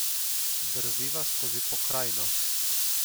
Drviva skozi pokrajino.